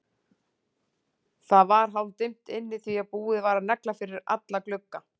Það var hálfdimmt inni því að búið var að negla fyrir alla glugga.